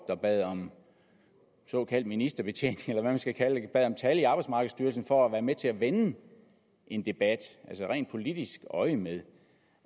der bad om såkaldt ministerbetjening eller hvad man skal kalde det bad om tal i arbejdsmarkedsstyrelsen for at være med til at vende en debat altså rent politisk øjemed det